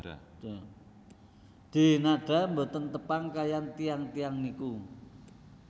Denada mboten tepang kalih tiyang tiyang niku